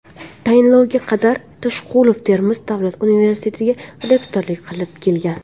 Tayinlovga qadar Toshqulov Termiz davlat universitetiga rektorlik qilib kelgan.